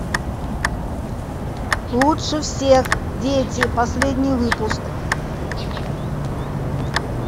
лучше всех дети последний выпуск